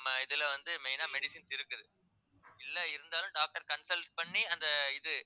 நம்ம இதுல வந்து main ஆ medicines இருக்குது இல்லை இருந்தாலும் doctor consult பண்ணி அந்த இது